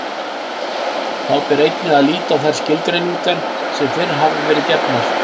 Þá ber einnig að líta á þær skilgreiningar sem fyrr hafa verið gefnar.